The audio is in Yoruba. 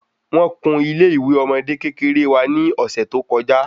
Wón kún ilé ìwé ọmọde kékeré wa ni ọsẹ to kọjá